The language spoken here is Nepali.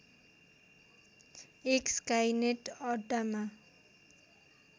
एक स्काइनेट अड्डामा